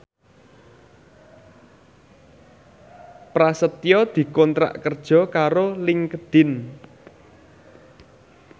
Prasetyo dikontrak kerja karo Linkedin